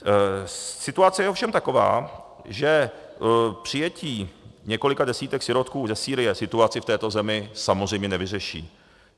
Situace je ovšem taková, že přijetí několika desítek sirotků ze Sýrie situaci v této zemi samozřejmě nevyřeší.